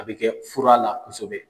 A bɛ kɛ furala kosɛbɛ.